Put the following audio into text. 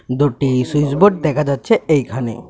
দুটি সুইচবোর্ড দেখা যাচ্ছে এইখানে .